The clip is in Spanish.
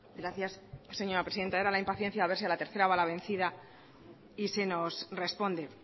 gracias señora presidenta era la impaciencia de a ver si a la tercera va la vencida y se nos responde